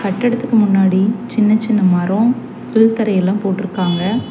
கட்டடத்துக்கு முன்னாடி சின்ன சின்ன மரோ பில் தரையெல்லா போட்ருக்காங்க.